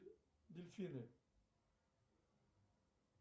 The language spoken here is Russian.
дельфины